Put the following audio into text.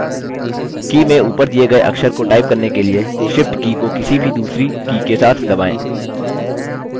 की में ऊपर दिए गये अक्षर को type करने के लिए shift की को किसी भी दूसरी की के साथ दबाएँ